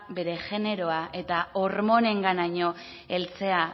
bere jeneroa eta hormonenganaino heltzea